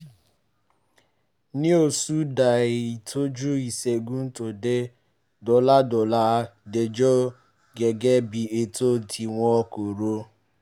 ní oṣù díẹ̀ ìtọ́jú ìṣègùn tó dé dọ́là dọ́là jẹ̀yọ̀ gẹ́gẹ́ bí ètò tí wọ́n kò rò